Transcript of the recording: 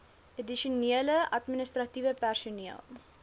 addisionele administratiewe personeel